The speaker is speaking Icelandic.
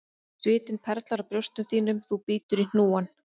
Svitinn perlar á brjóstum þínum þú bítur í hnúann,